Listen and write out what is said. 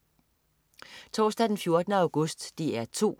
Torsdag den 14. august - DR 2: